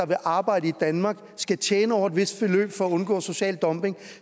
vil arbejde i danmark skal tjene over et vist beløb for at undgå social dumping